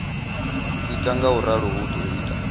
ita ngauralo hu do ita